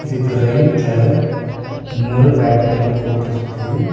இதுக்கு ரைட்ல இன்னொரு பேட்மிட்டன் கோர்ட் இருக்கு.